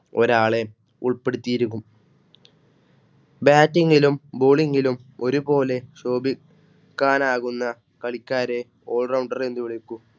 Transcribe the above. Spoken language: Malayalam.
ഒരാളെ ഉൾപ്പെടുത്തിയിരിക്കും. Bating ലും Bowling ലുംഒരുപോലെ ശോഭിക്കാനാകുന്ന കളിക്കാരെ All Rounder എന്ന് വിളിക്കും.